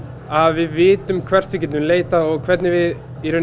að við vitum hvert við getum leitað og hvernig við